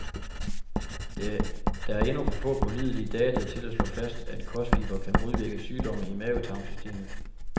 Der er endnu for få pålidelige data til at slå fast, at kostfibre kan modvirke sygdomme i mavetarmsystemet.